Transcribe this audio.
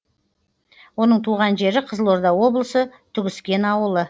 оның туған жері қызылорда облысы түгіскен ауылы